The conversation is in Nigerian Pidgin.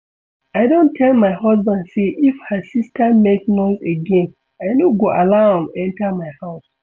I don tell my husband say if her sister make noise again I no go allow am enter my house